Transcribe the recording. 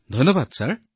ধন্যবাদ মহোদয়